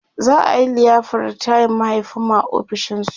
za'a liyafar ritayan mahaifinmu a ofishin su